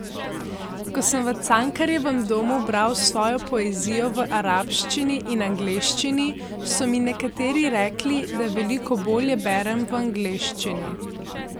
Ko sem v Cankarjevem domu bral svojo poezijo v arabščini in angleščini, so mi nekateri rekli, da veliko bolje berem v angleščini.